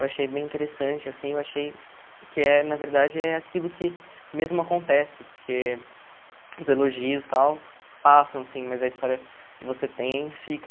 Eu achei bem interessante, assim, eu achei que é, na verdade, é aquilo que mesmo acontece, porque os elogios, tal, passam, assim, mas a história que você tem fica.